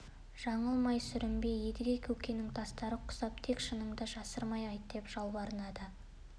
жаңылмай сүрінбей едіге көкенің тастары құсап тек шыныңды жасырмай айт деп жалбарынады